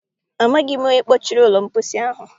Amaghị m onye kpọchiri ụlọ mposi ahụ.